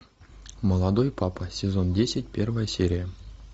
молодой папа сезон десять первая серия